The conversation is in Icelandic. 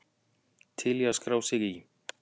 Til að skrá sig í